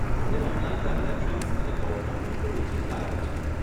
મને online transactions અને કૌભાંડની થોડી ચિંતા રહે છે.